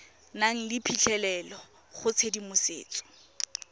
nang le phitlhelelo go tshedimosetso